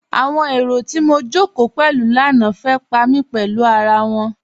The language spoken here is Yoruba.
Awọn èrò tó mó jọ́kò pẹ̀lú lánà fẹ́ pa mí pẹ̀lú àrà wọn yí.